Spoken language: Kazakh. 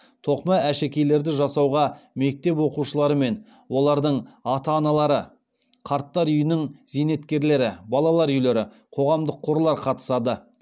тоқыма әшекейлерді жасауға мектеп оқушылары мен олардың ата аналары қарттар үйінің зейнеткерлері балалар үйлері қоғамдық қорлар қатысады